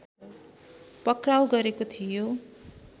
पक्राउ गरेको थियो